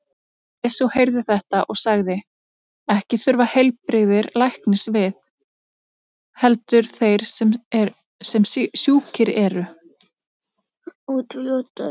Jesús heyrði þetta og sagði: Ekki þurfa heilbrigðir læknis við, heldur þeir sem sjúkir eru.